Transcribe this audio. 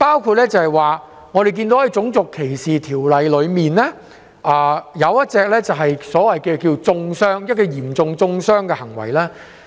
舉例而言，《種族歧視條例》其中一項條文提到嚴重中傷的行為。